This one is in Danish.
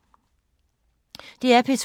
DR P2